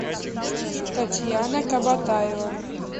татьяна кабатаева